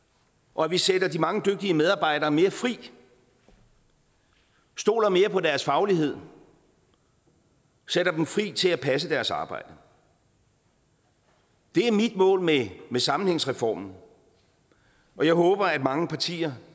og at vi sætter de mange dygtige medarbejdere mere fri stoler mere på deres faglighed og sætter dem fri til at passe deres arbejde det er mit mål med sammenhængsreformen og jeg håber at mange partier